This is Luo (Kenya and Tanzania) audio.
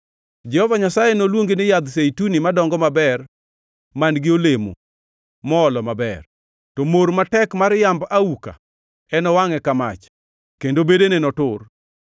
Jehova Nyasaye noluongi ni yadh zeituni madongo maber man-gi olemo moolo maber. To mor matek mar yamb auka enowangʼe ka mach, kendo bedene notur.